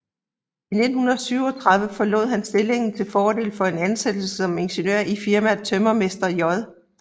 I 1937 forlod han stillingen til fordel for en ansættelse som ingeniør i firmaet Tømrermester J